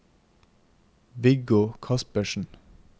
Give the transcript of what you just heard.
Viggo Kaspersen